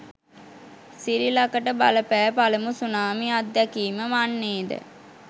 සිරිලකට බලපෑ පළමු සුනාමි අත්දැකීම වන්නේද?